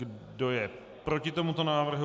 Kdo je proti tomuto návrhu?